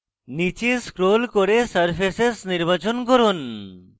নীচে scroll করে surfaces নির্বাচন করুন